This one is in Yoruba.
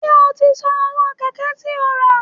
Ṣé o ti san owó Kẹ̀kẹ́ tí ó rà?